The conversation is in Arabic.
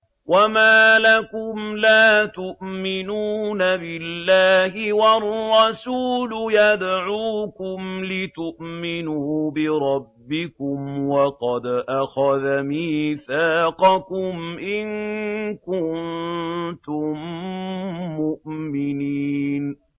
وَمَا لَكُمْ لَا تُؤْمِنُونَ بِاللَّهِ ۙ وَالرَّسُولُ يَدْعُوكُمْ لِتُؤْمِنُوا بِرَبِّكُمْ وَقَدْ أَخَذَ مِيثَاقَكُمْ إِن كُنتُم مُّؤْمِنِينَ